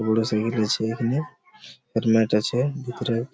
বড় সেলুন আছে এখানে একট্ ম্যাট আছে ভেতরে |